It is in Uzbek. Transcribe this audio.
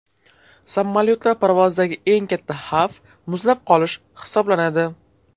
Samolyotlar parvozidagi eng katta xavf muzlab qolish hisoblanadi.